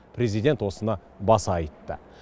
президент осыны баса айтты